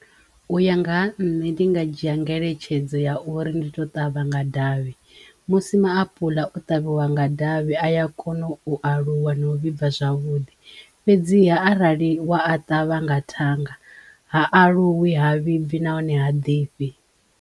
U ya nga ha nṋe ndi nga dzhia ngeletshedzo ya uri ndi to ṱavha nga davhi musi maapuḽa o ṱavhiwa nga davhi aya a kono u aluwa no u vhibva zwavhuḓi fhedziha arali wa a ṱavha nga thanga ha aluwi, ha vhibvi nahone ha ḓifhi.